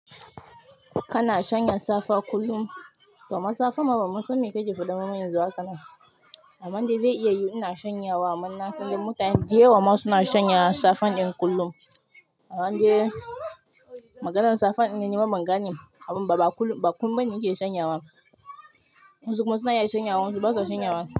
Kana shanya safa kullum? Kaman safa ma ban ma san me kake faɗa haka ba a nan amman dai zai iya yi ina shanyawa amman na sani mutane da yawa ma suna shanyawa safan in kullum. Amman dai maganar safane ban gane bane ba kullun bane nake shanyawa wasu kuma suna iya shanyawa wasu kuma basu shanyawa.